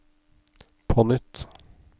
på nytt